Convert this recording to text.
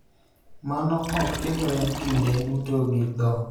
Mano ok timre kinde duto gi dhok,